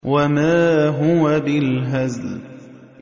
وَمَا هُوَ بِالْهَزْلِ